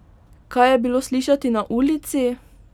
Kaj je bilo slišati na ulici?